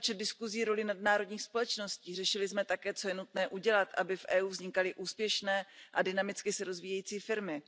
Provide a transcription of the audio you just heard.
nespočet diskuzí roli nadnárodních společností, řešili jsme také, co je nutné udělat, aby v EU vznikaly úspěšné a dynamicky se rozvíjející firmy.